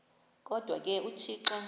kodwa ke uthixo